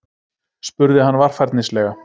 spurði hann varfærnislega.